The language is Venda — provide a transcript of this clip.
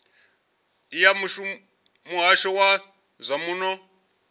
ya muhasho wa zwa muno